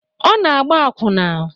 Ọ na-agba akwụna.